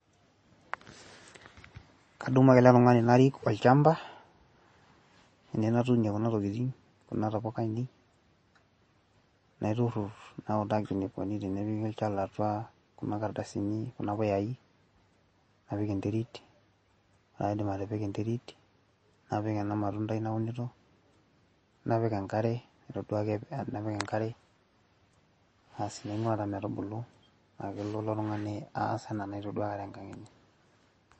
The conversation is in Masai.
kadumu ake ele tungani narik olchampa, ene natuunie kuna tokitin, kunatapuka aainei, naiturur nautaki eneikoni tenepiki olchala atua kuna kardasini, kunapuyayi, napik enterit, ore pee aidip ati[ika enterit, napik ena matundai launito, napik enkare, nainguaa taa metubulu, paa kelo ilo tungani aas anaa enaitodua tenkang enye.